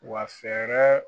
Wa fɛɛrɛ